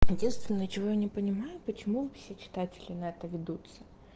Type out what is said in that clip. единственное чего я не понимаю почему все читатели на это ведутся